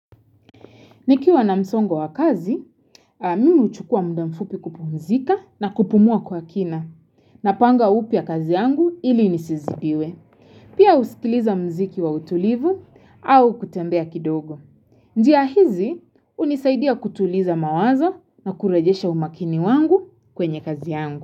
Nikiwa na msongo wa kazi, mimi huchukua mudamfupi kupumzika na kupumua kwa kina na panga upya kazi yangu ili nisizidiwe. Pia usikiliza mziki wa utulivu au kutembea kidogo. Njia hizi, unisaidia kutuliza mawazo na kurejesha umakini wangu kwenye kazi yangu.